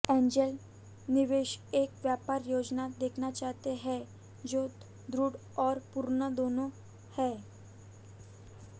angel निवेशक एक व्यापार योजना देखना चाहते हैं जो दृढ़ और पूर्ण दोनों है